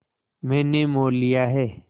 मैंने मोल लिया है